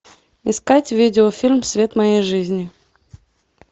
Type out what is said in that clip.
искать видеофильм свет моей жизни